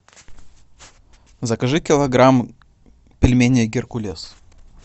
закажи килограмм пельменей геркулес